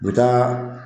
U bɛ taa